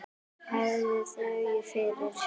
Hafðu þökk fyrir.